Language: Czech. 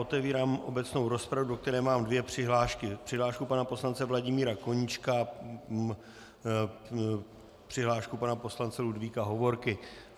Otevírám obecnou rozpravu, do které mám dvě přihlášky - přihlášku pana poslance Vladimíra Koníčka a přihlášku pana poslance Ludvíka Hovorky.